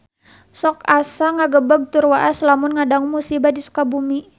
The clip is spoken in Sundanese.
Sok asa ngagebeg tur waas lamun ngadangu musibah di Sukabumi